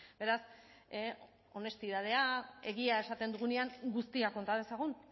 beraz honestidadea egia esaten dugunean guztia konta dezagun